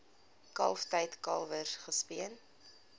kalftyd kalwers gespeen